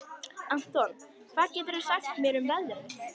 Anton, hvað geturðu sagt mér um veðrið?